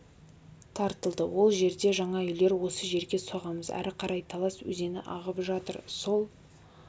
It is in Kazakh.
тартылды ол жерде жаңа үйлер осы жерге соғамыз ары қарай талас өзені ағып жатыр сол